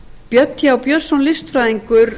björn th björnsson listfræðingur